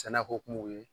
Sɛnɛko kumaw ye